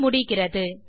தமிழாக்கம் நித்யா